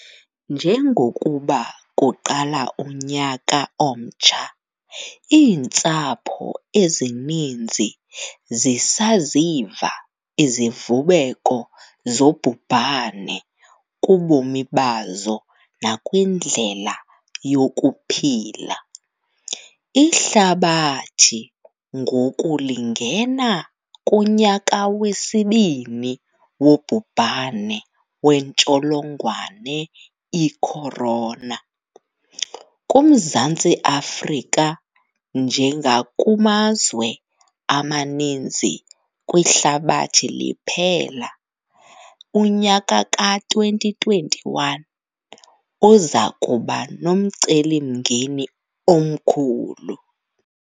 Njengokuba kuqala unyaka omtsha, iintsapho ezininzi zisaziva izivubeko zobhubhane kubomi bazo nakwindlela yokuphila. Ihlabathi ngoku lingena kunyaka wesibini wobhubhane wentsholongwane i-corona. KuMzantsi Afrika, njengakumazwe amaninzi kwihlabathi liphela, unyaka ka-2021 uza kuba nomcelimngeni omkhulu.